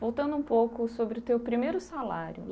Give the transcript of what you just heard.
Voltando um pouco sobre o teu primeiro salário.